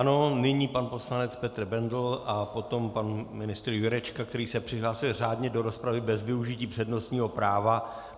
Ano, nyní pan poslanec Petr Bendl a potom pan ministr Jurečka, který se přihlásil řádně do rozpravy bez využití přednostního práva.